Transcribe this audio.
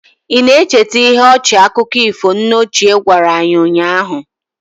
Ị na-echeta ihe ọchị akụkọ ifo nne ochie gwara anyị ụnyahụ?